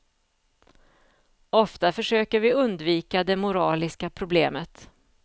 Ofta försöker vi undvika det moraliska problemet.